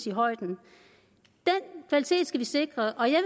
i højden den kvalitet skal vi sikre og jeg